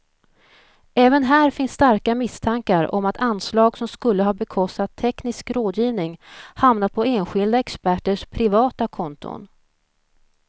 Även här finns starka misstankar om att anslag som skulle ha bekostat teknisk rådgivning hamnat på enskilda experters privata konton.